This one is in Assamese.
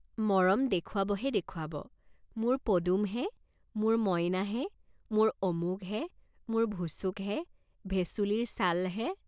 মৰম দেখুৱাবহে দেখুৱাব, মোৰ পদুমহে, মোৰ মইনাহে, মোৰ অমুকহে, মোৰ ভুচুকহে, ভেচুলিৰ ছালহে।